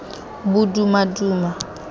bodumaduma